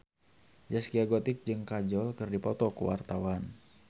Zaskia Gotik jeung Kajol keur dipoto ku wartawan